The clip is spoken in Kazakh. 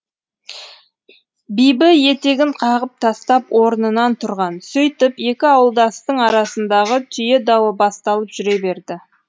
бибі етегін қағып тастап орнынан тұрған сөйтіп екі ауылдастың арасындағы түйе дауы басталып жүре берді